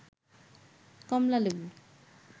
কমলা লেবু